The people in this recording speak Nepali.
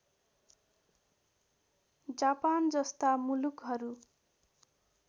जापान जस्ता मुलुकहरू